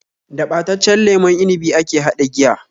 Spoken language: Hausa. Da ɓataccen lemon inibi ake haɗa giya